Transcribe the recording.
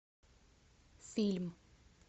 фильм